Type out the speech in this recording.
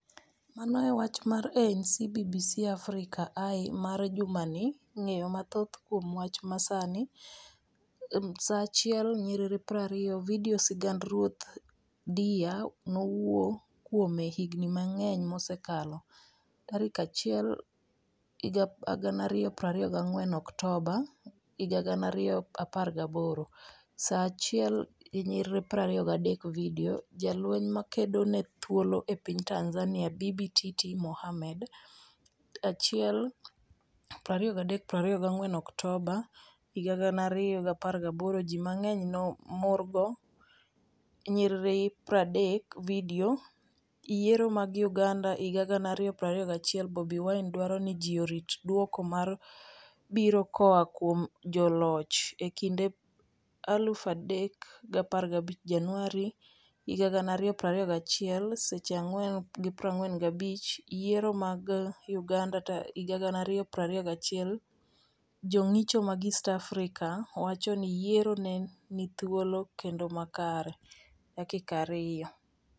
Mano e wach mar ANC BBC Africa Eye mar jumani Ng'eyo mathoth kuom wach ma sani 1:20 Vidio, Sigand Ruoth Dihya nowuo kuome higni mang'eny mosekalo, Sa 1,2024 Oktoba 2018 1:23 Vidio, Jalweny ma kedo ne thuolo e piny Tanzania, Bibi Titi Mohamed, Sa 1,2324 Oktoba 2018 Ji mang'eny morgo 0:30 Vidio, Yiero mag Uganda 2021:Bobi Wine dwaro ni ji orit dwoko ma biro koa kuom joloch,E kinde 0,3015 Januar 2021 4:45 Vidio, Yiero mag Uganda 2021: Jong'icho mag East Africa wacho ni yiero ne ni thuolo kendo makare, 2:00